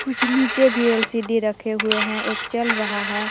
कुछ नीचे भी एल_सी_डी रखे हुए हैं एक चल रहा है।